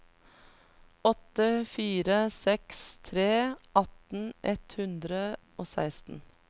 åtte fire seks tre atten ett hundre og seksten